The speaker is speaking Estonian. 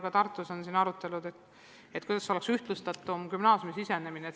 Ka Tartus on toimunud arutelud, kuidas võiks gümnaasiumi astumine ühtlasem olla.